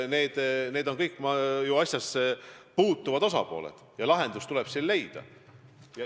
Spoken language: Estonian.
Need on ju kõik asjassepuutuvad osapooled ja lahendus tuleb neil leida.